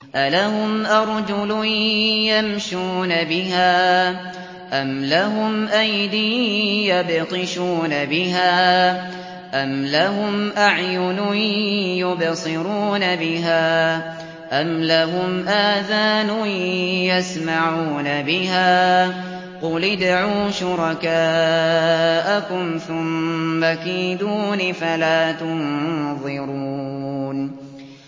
أَلَهُمْ أَرْجُلٌ يَمْشُونَ بِهَا ۖ أَمْ لَهُمْ أَيْدٍ يَبْطِشُونَ بِهَا ۖ أَمْ لَهُمْ أَعْيُنٌ يُبْصِرُونَ بِهَا ۖ أَمْ لَهُمْ آذَانٌ يَسْمَعُونَ بِهَا ۗ قُلِ ادْعُوا شُرَكَاءَكُمْ ثُمَّ كِيدُونِ فَلَا تُنظِرُونِ